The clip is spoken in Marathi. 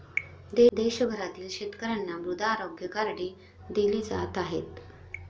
देशभरातील शेतकऱ्यांना मृदा आरोग्य कार्डे दिली जात आहेत.